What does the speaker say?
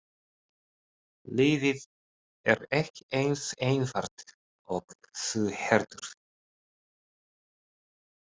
Lífið er ekki eins einfalt og þú heldur.